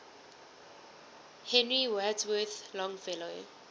henry wadsworth longfellow